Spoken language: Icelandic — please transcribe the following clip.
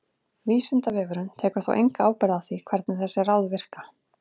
Vísindavefurinn tekur þó enga ábyrgð á því hvernig þessi ráð virka.